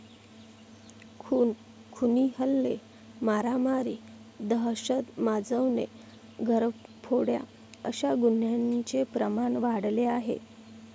खून, खुनी हल्ले, मारामारी, दहशत माजवणे, घरफोड्या अशा गुन्ह्यांचे प्रमाण वाढले आहे.